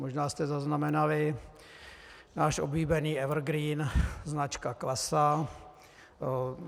Možná jste zaznamenali náš oblíbený evergreen, značka Klasa.